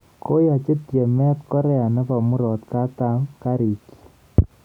Koyachi tyemet Korea nebo murotakatam kariik chiik